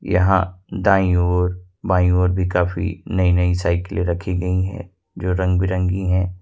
यहां दाईं ओर बांई ओर भी काफी नई-नई साइकिले रखी गई है जो रंग-बिरंगी है।